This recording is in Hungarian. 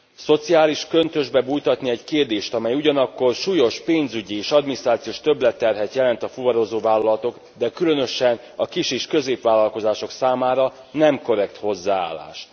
Szociális köntösbe bújtatni egy kérdést, amely ugyanakkor súlyos pénzügyi és adminisztrációs többletterhet jelent a fuvarozó vállalatok és különösen a kis és középvállalkozások számára nem korrekt hozzáállás.